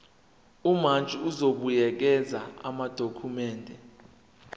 umantshi uzobuyekeza amadokhumende